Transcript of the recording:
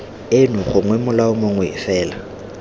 eno gongwe molao mongwe fela